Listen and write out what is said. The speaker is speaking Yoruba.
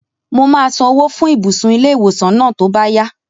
Mo máa san owó fún ibùsùn ilé-ìwòsàn náà tó bá yá